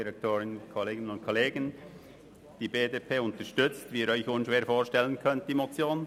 Die BDP unterstützt, wie Sie sich unschwer vorstellen können, die Motion.